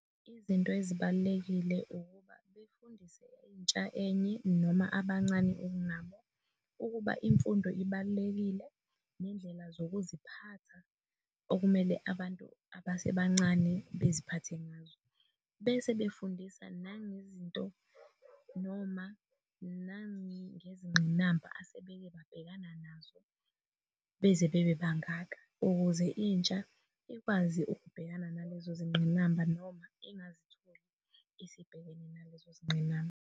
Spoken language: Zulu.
Izinto ezibalulekile ukuba befundise intsha enye noma abancane nabo. Ukuba imfundo ibalulekile nendlela zokuziphatha okumele abantu abasebancane beziphathe ngazo, bese befundisa nangezinto noma nangezingqinamba asekebabhekana nazo beze bebebangaka, ukuze intsha ikwazi ukubhekana nalezo zingqinamba noma engazitholi esebhekene nalezo zinqinamba.